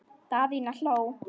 Daðína hló.